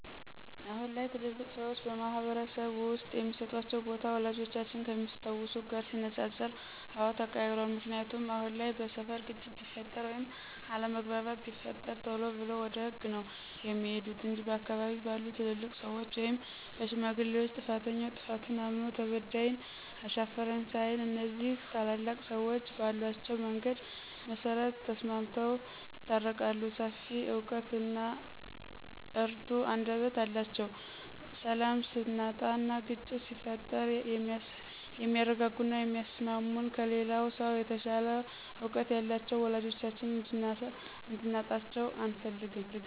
አሁን ላይ ትልልቅ ሰዎች በማህበረስብ ውስጥ የሚስጧቸው ቦታ፣ ወላጆቻችን ከሚያስታውሱት ጋር ሲነፃፀር አወ ተቀይሯል። ምክንያቱ አሁን ላይ በስፈር ግጭት ቢፈጥር ወይም አለምግባባት ቢፈጠር ቴሎ ብለው ወደ ህግ ነው ሚሄዱት እንጅ በአካባቢ ባሉ ትልልቅ ሰዎች ወይም በሽማግሌዎች ጥፋተኛውም ጥፋቱን እምኖ ተበዳይም አሻፈኝ ሳይል እኒዚህ ታላላቅ ሰዎች ባሏቸው መንገድ መሰረት ተስማምተው ይታረቃሉ ሰፊ እውቀት እና እርቱ አንደበት ያላቸውን ሰላም ስናጣና ግጭት ሲፈጠር የሚያርጋጉና የሚያስሟሙን ከሌላው ሰው የተሻለ እውቀት ያላቸውን ወላጆቻችን እንድናጣቸው አንፈልግም።